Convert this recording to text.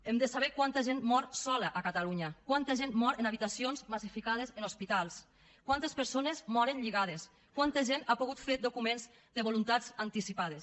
hem de saber quanta gent mor sola a catalunya quanta gent mor en habitacions massificades en hospitals quantes persones moren lligades quanta gent ha pogut fer documents de voluntats anticipades